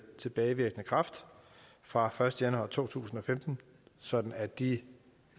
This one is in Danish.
tilbagevirkende kraft fra første januar to tusind og femten sådan at de